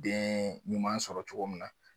Den ɲuman sɔrɔ cogo min na.